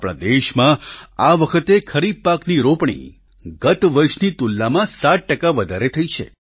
આપણા દેશમાં આ વખતે ખરીફ પાકની રોપણી ગત વર્ષની તુલનામાં 7 ટકા વધારે થઈ છે